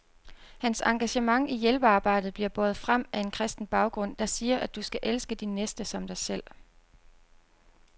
Hans engagement i hjælpearbejdet bliver båret frem af en kristen baggrund, der siger, at du skal elske din næste som dig selv.